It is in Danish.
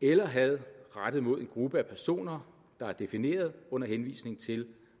eller had rettet mod en gruppe af personer der er defineret under henvisning til